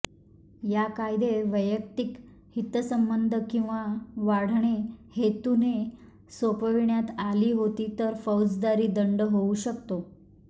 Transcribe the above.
या कायदे वैयक्तिक हितसंबंध किंवा वाढणे हेतूने सोपविण्यात आली होती तर फौजदारी दंड होऊ शकतो